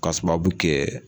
Ka sababu kɛ